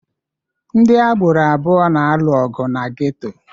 Ndị agboro abụọ na-alụ ọgụ na geto.